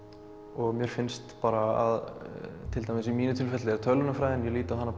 og mér finnst bara að til dæmis í mínu tilviki tölvunarfræðin ég lít á hana